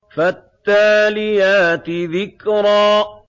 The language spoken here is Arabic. فَالتَّالِيَاتِ ذِكْرًا